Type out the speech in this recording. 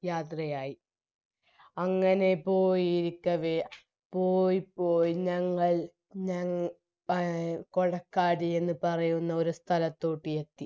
യാത്രയായി അങ്ങനെ പോയിരിക്കവേ പോയി പോയി ഞങ്ങൾ ഞ എ കൊടക്കാടി എന്നുപറയുന്ന ഒരു സ്ഥലത്തൂട്ടിയെത്തി